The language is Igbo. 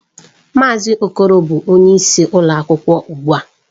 Mazị Okoro bụ onyeisi ụlọ akwụkwọ ugbu a.